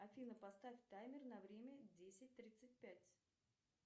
афина поставь таймер на время десять тридцать пять